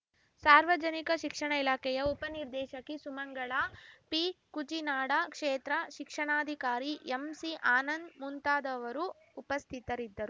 ಸಾರ್ವಜನಿಕ ಶಿಕ್ಷಣ ಇಲಾಖೆಯ ಉಪನಿರ್ದೇಶಕಿ ಸುಮಂಗಳಾ ಪಿ ಕುಚಿನಾಡ ಕ್ಷೇತ್ರ ಶಿಕ್ಷಣಾಧಿಕಾರಿ ಎಂಸಿ ಆನಂದ್‌ ಮುಂತಾದವರು ಉಪಸ್ಥಿತರಿದ್ದರು